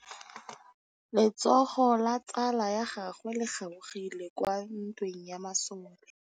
Letsôgô la tsala ya gagwe le kgaogile kwa ntweng ya masole.